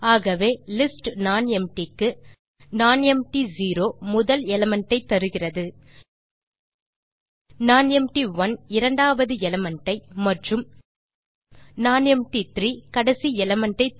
ஆகவே list nonempty க்கு nonempty0 முதல் எலிமெண்ட் ஐ தருகிறது nonempty1 இரண்டவது எலிமெண்ட் ஐ மற்றும் இதே போல nonempty3 கடைசி எலிமெண்ட்